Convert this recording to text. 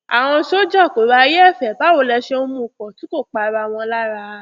àwọn sójà kò ráyè ẹfẹ báwo lè ṣe ń mú un pọ tí kò pa ara wọn lára